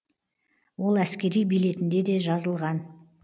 ол әскери билетінде де жазылған